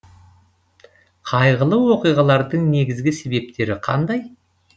қайғылы оқиғалардың негізгі себептері қандай